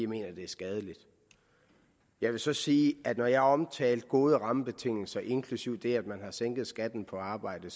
mener det er skadeligt jeg vil så sige at jeg omtale af gode rammebetingelser inklusive det at man har sænket skatten på arbejde